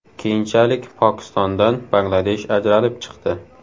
Keyinchalik Pokistondan Bangladesh ajralib chiqdi.